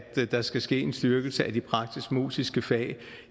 der skal ske en styrkelse af de praktisk musiske fag